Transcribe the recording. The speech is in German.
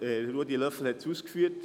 Ruedi Löffel hat es ausgeführt.